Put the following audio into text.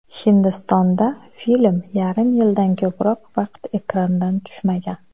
Hindistonda film yarim yildan ko‘proq vaqt ekrandan tushmagan.